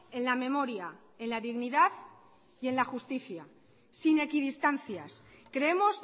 en la memoria en la dignidad y en la justicia sin equidistancias creemos